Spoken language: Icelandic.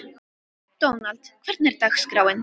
Dónald, hvernig er dagskráin?